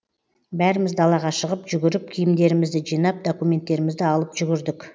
бәріміз далаға шығып жүгіріп киімдерімізді жинап документтерімізді алып жүгірдік